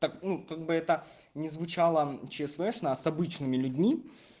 так ну как бы это ни звучало чесбешно с обычными людьми